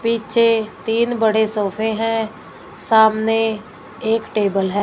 पीछे तीन बड़े सोफे हैं सामने एक टेबल है।